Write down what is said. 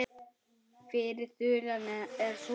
Fyrri þulan er svona